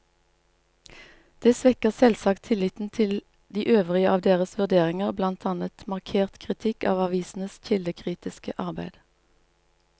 Det svekker selvsagt tilliten til de øvrige av deres vurderinger, blant annet markert kritikk av avisenes kildekritiske arbeid.